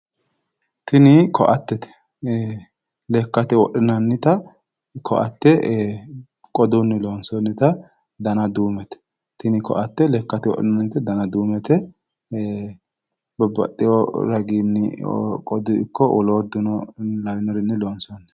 Tini koatteete. Lekkate wodhinannita koatte qodunni loonsoonnita dana duumete. Tini koatte lekkate wodhinannite dana duumete. Babbaxxiwo raginni qoduyi ikko woluudduno lawinorinni loonsoonni.